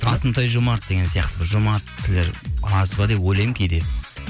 атымтай жомарт деген сияқты бір жомарт кісілер аз ба деп ойлаймын кейде